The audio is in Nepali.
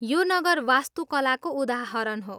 यो नगर वास्तुकलाको उदाहरण हो।